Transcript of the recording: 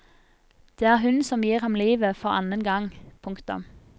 Det er hun som gir ham livet for annen gang. punktum